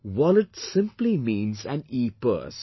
Wallet simply means an epurse